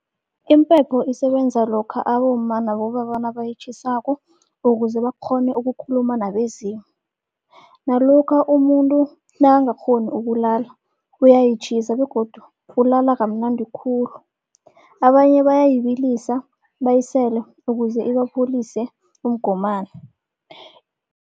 Impepho isebenza lokha abomma nabobaba nabayitjhisako ukuze bakghone ukukhuluma nabezimu. Nalokha umuntu nakangakghoni ukulala, uyayitjhisa begodu ulala kamnandi khulu. Abanye bayayibilisa bayisele ukuze ibapholise umgomani.